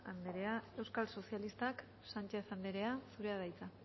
anderea euskal sozialistak sánchez anderea zurea da hitza